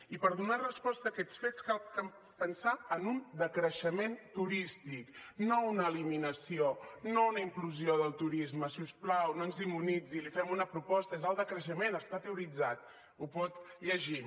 i per donar resposta a aquests fets cal pensar en un decreixement turístic no una eliminació no una implosió del turisme si us plau no ens demonitzi li fem una proposta és el decreixement està teoritzat ho pot llegir